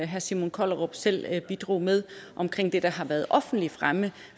herre simon kollerup selv bidrog med omkring det der har været offentligt fremme